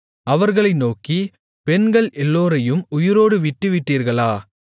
அவர்களை நோக்கி பெண்கள் எல்லோரையும் உயிரோடு விட்டுவிட்டீர்களா